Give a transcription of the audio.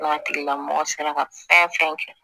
N'a tigilamɔgɔ sera ka fɛn fɛn kɛ